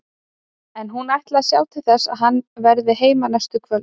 En hún ætlar að sjá til þess að hann verði heima næstu kvöld.